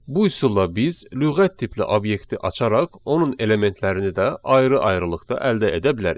Bu üsulla biz lüğət tipli obyekti açaraq onun elementlərini də ayrı-ayrılıqda əldə edə bilərik.